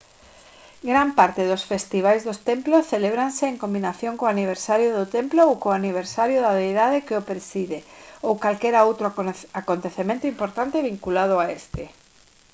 gran parte dos festivais dos templos celébranse en combinación co aniversario do templo ou co aniversario da deidade que o preside ou calquera outro acontecemento importante vinculado a este